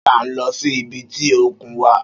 Ṣé a ń lọ sí ibi tí òkun wà?